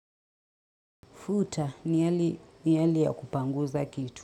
Futa ni hali ya kupanguza kitu.